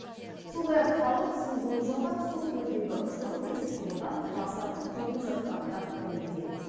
сондай ақ халық сүңгуір жалдап су түбіндегі шұрық тесік құбырдан лас заттың төгіліп жатқанын да дәлелдеген